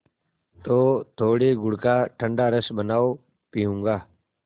तो थोड़े गुड़ का ठंडा रस बनाओ पीऊँगा